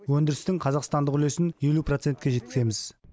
өндірістің қазақстандық үлесін елу процентке жеткіземіз